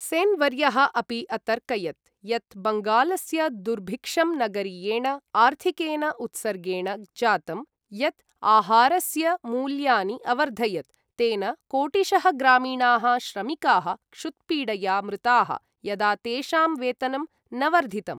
सेन् वर्यः अपि अतर्कयत् यत् बङ्गालस्य दुर्भिक्षं नगरीयेण आर्थिकेन उत्सर्गेण जातं, यत् आहारस्य मूल्यानि अवर्धयत्, तेन कोटिशः ग्रामीणाः श्रमिकाः क्षुत्पीडया मृताः यदा तेषां वेतनं न वर्धितम्।